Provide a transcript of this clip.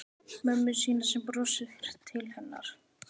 Mömmu sína sem brosir til hennar.